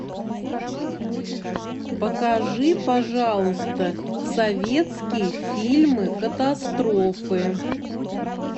покажи пожалуйста советские фильмы катастрофы